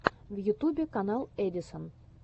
в ютубе канал эдисон